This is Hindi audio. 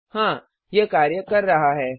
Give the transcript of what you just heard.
हाँ यह कार्य कर रहा है